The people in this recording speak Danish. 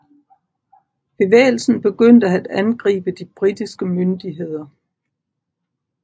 Bevægelsen begyndte at angribe de britiske myndigheder